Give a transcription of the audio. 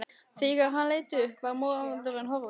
Þegar hann leit upp var maðurinn horfinn.